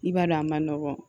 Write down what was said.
I b'a dɔn a ma nɔgɔ